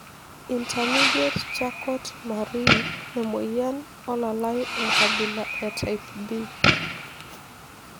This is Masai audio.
Intermediate charcot marie emoyian olalae enkabila e type B?